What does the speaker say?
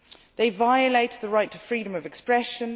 They violate the right to freedom of expression.